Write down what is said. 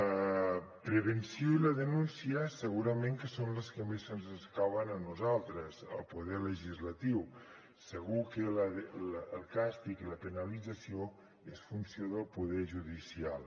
la prevenció i la denúncia segurament que són les que més ens escauen a nosaltres el poder legislatiu segur que el càstig i la penalització és funció del poder judicial